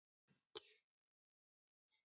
Eigið þið von á því að viðbúnaðarstig verði hækkað?